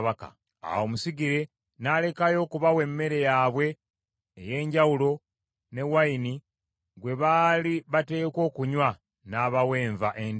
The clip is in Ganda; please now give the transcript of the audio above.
Awo omusigire n’alekayo okubawa emmere yaabwe ey’enjawulo ne wayini gwe baali bateekwa okunywa, n’abawa enva endiirwa.